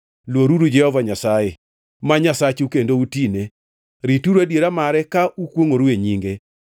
Luoruru Jehova Nyasaye ma Nyasachu kendo utine. Rituru adiera mare ka ukwongʼoru e nyinge.